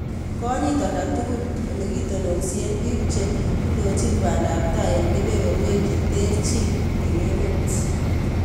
konyit olda tukul ole le kitonoonsien biik theindochin baandaabtai eng kebeberweek cheterchin eng emeet